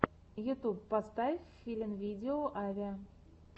ютьюб поставь филинвидео авиа